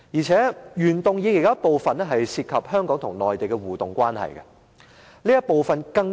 此外，原議案部分內容涉及香港與內地的互動關係。